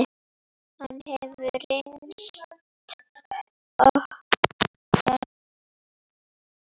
Hann hefur reynst okkur vel.